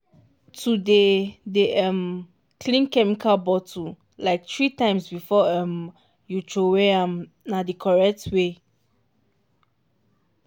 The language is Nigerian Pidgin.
to dey dey um clean chemical bottle like three times before um you throway am na the correct way.